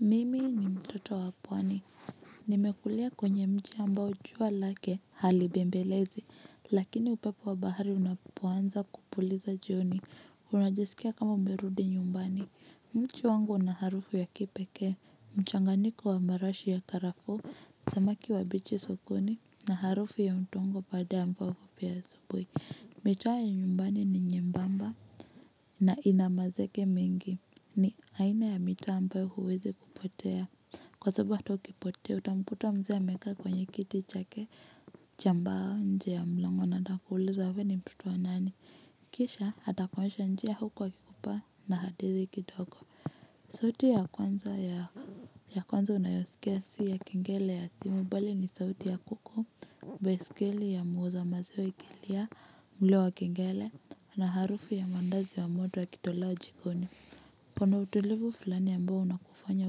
Mimi ni mtoto wa pwani. Nimekulia kwenye mji ambao jua lake halibembelezi lakini upepo wa bahari unapoanza kupuliza jioni unajisikia kama umerudi nyumbani mji wangu na harufu ya kipeke. Mchanganiko wa marashi ya karafuu samaki wabichi sokoni na harufu ya udongo baada ambao kupia asubui. Mitaa ya nyumbani ni nyembamba na inamazege mingi ni aina ya mitaa ambayo huwezi kupotea. Kwa sababu hata ukipotea utamkuta mze amekaa kwenye kiti chake cha mbao nje ya mlango na atakuuliza wewe ni mtoto wa nani. Kisha atakuonyesha njia huku akikupa na hadithi kidogo. Sauti ya kwanza ya kwanza unayosikia si ya kengele ya simu, bali ni sauti ya kuku, baiskeli ya muuza maziwa ikilia, mlio wa kengele, na harufu ya mandazi ya moto yakitolewa jikoni. Kuna utulivu fulani ambao unakufanya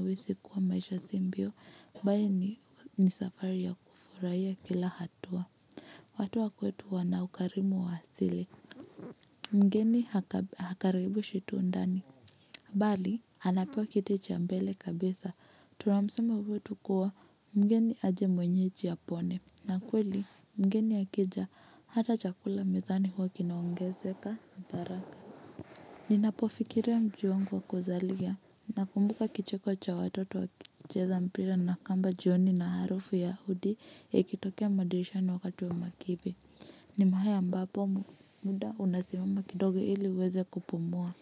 uhisi kuwa maisha si mbio, mbali ni safari ya kufurahia kila hatua. Watu wa kwetu wana ukarimu wa asili. Mgeni hakaribishwi tu ndani. Bali, anapewa kiti cha mbele kabisa, tunamsemo wetu kuwa tukua mgeni aje mwenyeji apone, na kweli mgeni akija hata chakula mezani huwa kinaongezeka baraka. Ninapo fikiria muji wangu wa kuzalia, nakumbuka kicheko cha watoto wakicheza mpira na kamba jioni na harufu ya hudi yakitokea madirishani wakatu wa makibi. Ni mahali ambapo muda unasimama kidoge ili uweze kupumua.